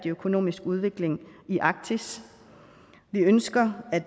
økonomisk udvikling i arktis vi ønsker at